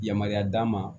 Yamaruya d'a ma